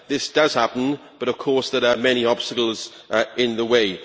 This does happen, but of course that are many obstacles in the way.